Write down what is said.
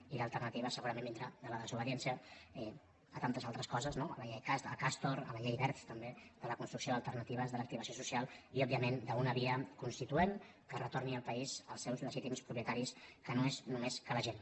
i l’alternativa segurament vindrà de la desobediència a tantes altres coses no a castor a la llei wert també de la construcció d’alternatives de l’activació social i òbviament d’una via constituent que retorni el país als seus legítims propietaris que no és sinó la gent